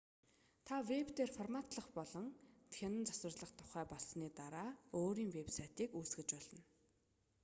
та вэб дээр форматлах болон хянан засварлахдаа тухтай болсны дараа өөрийн вэб сайтыг үүсгэж болно